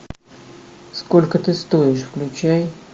сколько ты стоишь включай